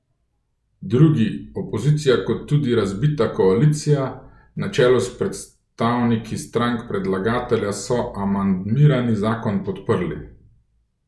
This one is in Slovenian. Drugi, opozicija kot tudi razbita koalicija, na čelu s predstavniki strank predlagatelja, so amandmiran zakon podprli.